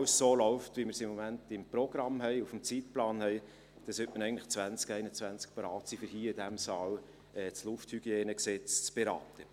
Wenn alles so läuft, wie wir es im Moment im Programm, im Zeitplan haben, sollten wir eigentlich im Jahr 2021 bereit sein, um in diesem Saal das LHG zu beraten.